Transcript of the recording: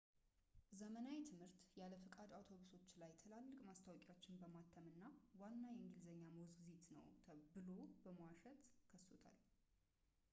ዘመናዊ ትምህርት ያለ ፈቃድ አውቶቡሶች ላይ ትላልቅ ማስታወቂያዎችን በማተም እና ዋና የእንግሊዝኛ ሞግዚት ነው ብሎ በመዋሸት ከሶታል